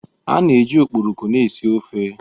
A na-eji okporoko na-esi ofe.